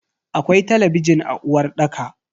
Akwai talabijin a uwarɗaka.